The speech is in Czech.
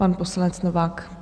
Pan poslanec Novák.